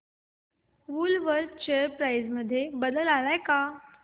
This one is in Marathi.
वूलवर्थ शेअर प्राइस मध्ये बदल आलाय का